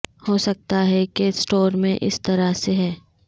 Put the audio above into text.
ہو سکتا ہے کہ سٹور میں اس طرح سے ہیں